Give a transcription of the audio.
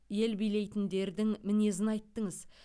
ел билейтіндердің мінезін айттыңыз